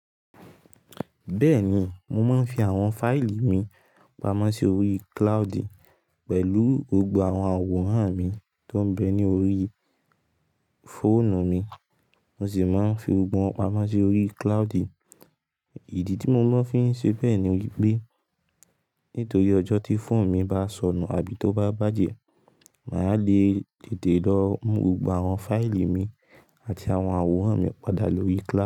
Bẹ́ẹ̀ni, mo máa ń fi àwọn fáìlì mi pamọ́ sí orí cloudy pẹ̀lú gbogbo àwọn àwòrán mi tó ń bẹ ní orí fóònù mi. Mo sì máa ń fi gbogbo wọn pamọ́ sí orí cloudy. Ìdí tí mo ma n fi ń ṣe bẹ́ẹ̀ ni wípé, nítorí ọjọ́ tí fóònù mi bá sọnù àbí tó bá bàjẹ́, mà á lè tètè lọ mú gbogbo àwọn fáìlì mi àti àwọn àwòrán mi padà lórí cloudy.